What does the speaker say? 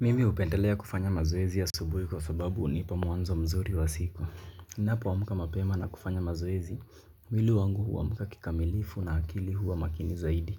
Mimi hupendelea kufanya mazoezi asubuhi kwa sababu unipa mwanzo mzuri wa siku. Napo amka mapema na kufanya mazoezi, mwili wangu huamka kikamilifu na akili huwa makini zaidi.